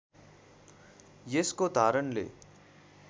यसको धारणले